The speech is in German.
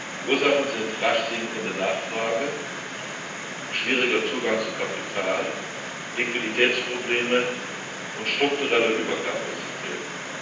Die Ursachen sind rasch sinkende Nachfrage, schwieriger Zugang zu Kapital, Liquiditätsprobleme und strukturelle Überkapazitäten.